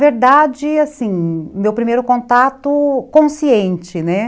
Na verdade, assim, meu primeiro contato, meu primeiro contato... consciente, né?